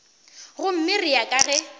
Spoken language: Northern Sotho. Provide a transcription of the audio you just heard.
gomme ya re ka ge